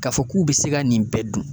K'a fɔ k'u be se ka nin bɛɛ dun